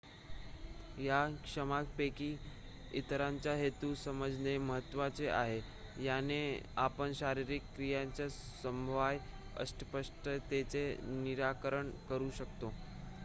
या क्षमतांपैकी इतरांचा हेतू समजणे महत्त्वाचे आहे याने आपण शारीरिक क्रियांच्या संभाव्य अस्पष्टतेचे निराकरण करू शकतो